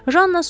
Janna susdu.